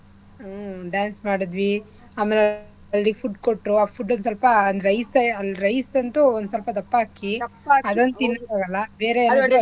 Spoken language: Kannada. ಹ್ಮ್ dance ಮಾಡಿದ್ವಿ ಆಮೇಲೆ ಅಲ್ಲಿ food ಕೊಟ್ರು ಆ food ಲ್ಲಿ ಸ್ವಲ್ಪ ಒಂದ್ rice ಎ ಅಲ್ rice ಅಂತೂ ಒಂದ್ಸ್ವಲ್ಪ ದಪ್ಪ ಅಕ್ಕಿ ಏನೋ ಅದೊಂದ್ ತಿನ್ನಂಗ್ ಆಗಲ್ಲ ಬೇರೆ ಅಡ್ಗೆ.